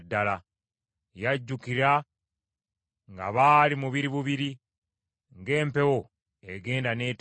Yajjukira nga baali mubiri bubiri; ng’empewo egenda n’etedda!